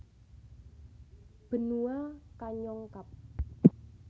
Benua Kanyong Kab